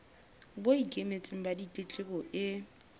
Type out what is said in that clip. bo ikemetseng ba ditletlebo e